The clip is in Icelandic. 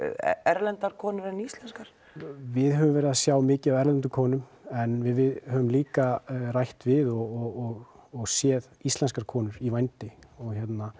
erlendar konur en íslenskar við höfum verið að sjá mikið af erlendum konum en við höfum líka rætt við og og séð íslenskar konur í vændi og